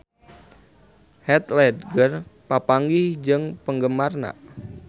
Heath Ledger papanggih jeung penggemarna